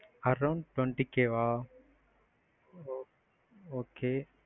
around twenty k வா, okay.